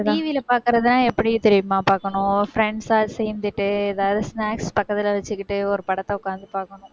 TV ல பாக்கறதுன்னா எப்படி தெரியுமா பாக்கணும்? friends ஆ சேர்ந்துட்டு ஏதாவது snacks பக்கத்துல வச்சுக்கிட்டு ஒரு படத்தை உட்கார்ந்து பார்க்கணும்